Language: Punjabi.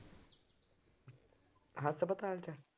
ਹਸਪਤਾਲ ਚ ਆ